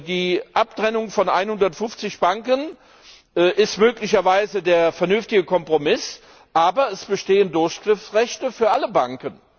Die Abtrennung von 150 Banken ist möglicherweise der vernünftige Kompromiss, aber es bestehen Durchgriffsrechte für alle Banken.